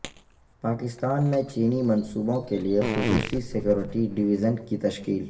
پاکستان میں چینی منصوبوں کے لیے خصوصی سکیورٹی ڈویژن کی تشکیل